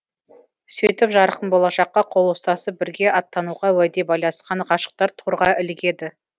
сөйтіп жарқын болашаққа қол ұстасып бірге аттануға уәде байласқан ғашықтар торға ілігеді